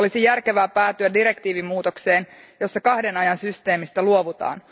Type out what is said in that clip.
Olisi järkevää päätyä direktiivimuutokseen, jossa kahden ajan systeemistä luovutaan.